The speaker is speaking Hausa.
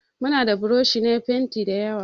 Mu na da buroshi na fenti dayawa.